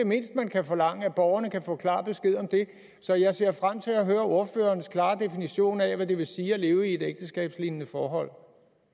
mindste man kan forlange nemlig at borgerne kan få klar besked om det så jeg ser frem til at høre ordførerens klare definition af hvad det vil sige at leve i et ægteskabslignende forhold